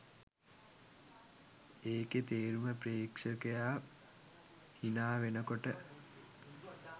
ඒකෙ තේරුම ප්‍රේක්ෂකයා හිනාවෙනකොට